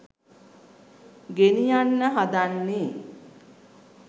ගෙනියන්න හදන්නේ